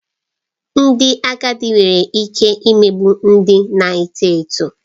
Ndị agadi nwere ike imegbu ndị na-eto eto